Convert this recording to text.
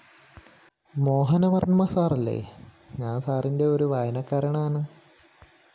മോഹനവര്‍മ്മ സാറല്ലേ? ഞാന്‍ സാറിന്റെ ഒരു വായനക്കാരനാണ്